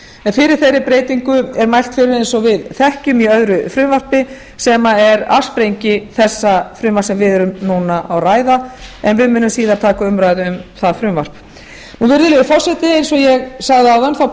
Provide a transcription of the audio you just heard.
en fyrir þeirri breytingu er mælt fyrir eins og við þekkjum í öðru frumvarpi sem er afsprengi þessa frumvarps sem við erum núna að ræða en við munum síðar að taka umræðu um það frumvarp virðulegi forseti eins og ég sagði áðan þá